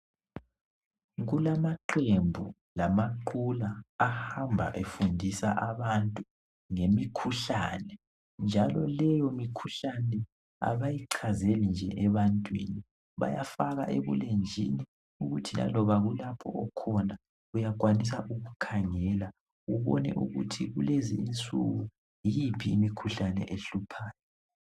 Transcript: Kulamaqembu lamaqula ahamba efundisa abantu ngemikhuhlane njalo leyo mikhuhlane abayichazele nje ebantwini bayafaka ebulenjini ukuthi laloba lapho oyabe ukhona uyakwanisa ukukhangela ubone ukuthi kulezi insuku yiphi imikhuhlane ehluphayo.